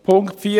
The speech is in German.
Punkt 4,